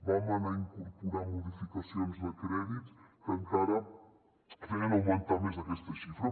vam anar incorporar modificacions de crèdits que encara feien augmentar més aquesta xifra